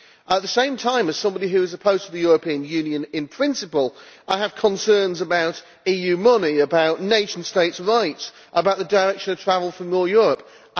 At the same time, as somebody who is opposed to the European Union in principle, I have concerns about EU money, about nation states' rights, about the direction of travel for more Europe.